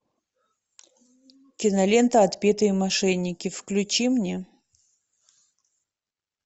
кинолента отпетые мошенники включи мне